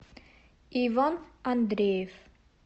иван андреев